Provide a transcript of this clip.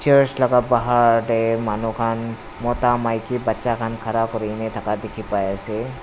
curch laga bahar tey manu khan mota maiki bacha khan khara kurikena thaka dikhi pai ase.